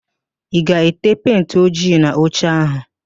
Ị ga-ete pentị ojii n'oche áhụ̀?